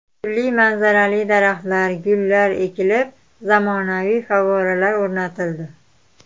Turli manzarali daraxtlar, gullar ekilib, zamonaviy favvoralar o‘rnatildi.